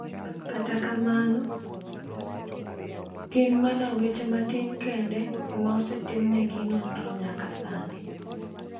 Kata kamano, gin mana weche matin kende e ma osetimnegi nonro nyaka sani.